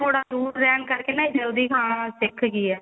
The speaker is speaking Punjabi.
ਮੈਂ ਥੋੜਾ ਦੁਰ ਰਹਿਣ ਕਰਕੇ ਨਾ ਇਹ ਜਲਦੀ ਖਾਣਾ ਸਿੱਖ ਗਈ ਏ